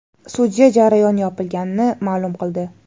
Sudya jarayon yopilganini ma’lum qildi.